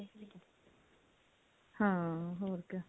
ਹਾਂ ਹੋਰ ਕਿਆ